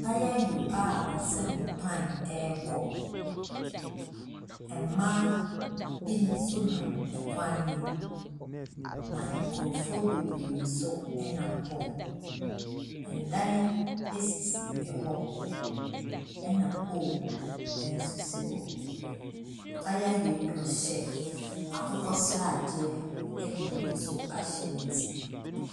Kayayo a ɔso ne pan ɛrekɔ, mmaa bi so nam kwan ne mu, na nkurɔfo bebree nso nam hɔ. dan sisi hɔ na pole nso si hɔ. kayayo yi, ɔhyɛ akokɔsradeɛ de bi nso ahyɛ ne ti.